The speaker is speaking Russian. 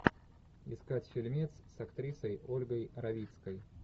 искать фильмец с актрисой ольгой равицкой